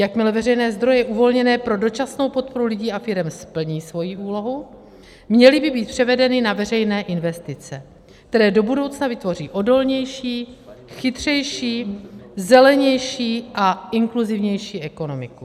Jakmile veřejné zdroje uvolněné pro dočasnou podporu lidí a firem splní svoji úlohu, měly by být převedeny na veřejné investice, které do budoucna vytvoří odolnější, chytřejší, zelenější a inkluzivnější ekonomiku.